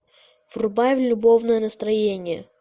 врубай любовное настроение